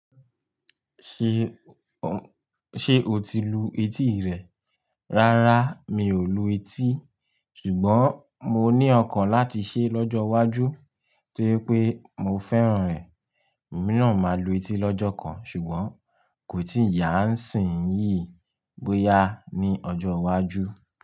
Ṣé o ti lu etí rẹ? Rárá, mi ò lu etí. Ṣùgbọ́n mo ní ọkàn láti ṣe é lọ́jọ́ iwájú tóri pé mo fẹ́ràn rẹ̀. Emì náà ma lu etí lọ́jọ́ kan ṣùgbọ́n kò tí ì yá nsìn yìí bóyá ni ọjọ́ iwájú.